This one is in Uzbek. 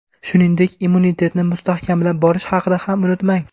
Shuningdek, immunitetni mustahkamlab borish haqida ham unutmang.